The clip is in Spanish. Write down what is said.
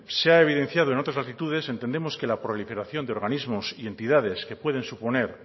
se ha evidenciado en otras latitudes entendemos que la proliferación de organismos y entidades que pueden suponer